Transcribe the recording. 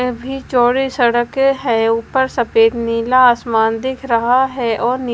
भी चौड़ी सड़क है ऊपर सफेद नीला आसमान दिख रहा है और नी--